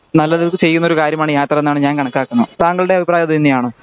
നല്ലത് ചെയ്യുന്നൊരു കാര്യമാണ് യാത്ര എന്നാണ് ഞാൻ കണക്കാക്കുന്നത് താങ്കളുടെ അഭിപ്രായം അത് തന്നെയാണോ